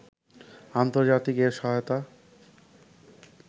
আন্তর্জাতিক এ সহায়তা